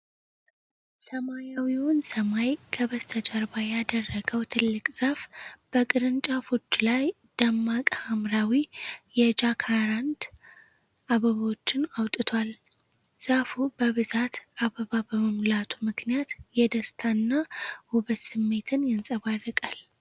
ሰማያዊውን ሰማይ ከበስተጀርባ ያደረገው ትልቅ ዛፍ፣ በቅርንጫፎቹ ላይ ደማቅ ሐምራዊ የጃካራንዳ አበባዎችን አውጥቷል። ዛፉ በብዛት አበባ በመሙላቱ ምክንያት የደስታ እና ውበት ስሜትን ያንፀባርቃል።